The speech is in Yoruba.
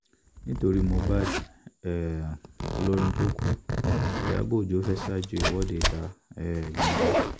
nítorí mohbad um olórin tó kù ìyàbọ̀ ọjọ́ fẹ́ẹ́ ṣáájú ìwọ́de ìta um gbangba